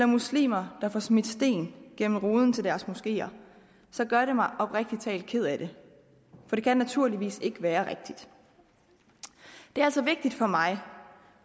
muslimer der får smidt sten gennem ruden til deres moskeer gør det mig oprigtig talt ked af det for det kan naturligvis ikke være rigtigt det er altså vigtigt for mig